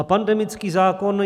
A pandemický zákon?